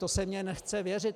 To se mi nechce věřit.